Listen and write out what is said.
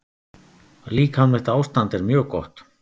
Líkamlegt ástand er mjög gott.